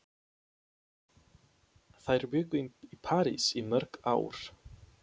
Þær bjuggu í París í mörg ár.